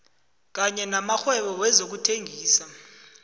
kanye namakghwebo wezokuthengisa